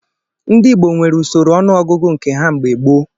Ndị Igbo nwere usoro ọnụọgọgụ nke ha mgbe gboo.